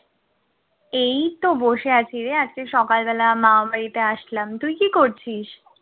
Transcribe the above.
এইতো বসে আছি রে, আজকে সকাল বেলা মামার বাড়িতে আসলাম। তুই কি করছিস?